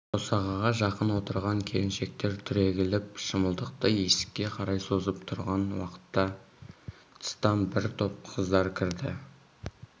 босағаға жақын отырған келіншектер түрегеліп шымылдықты есікке қарай созып тұрған уақытта тыстан бір топ қыздар кірді